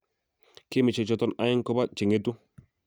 Gemisiek choton aeng kobo che ng'etu